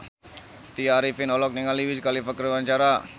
Tya Arifin olohok ningali Wiz Khalifa keur diwawancara